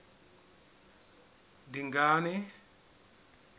dingane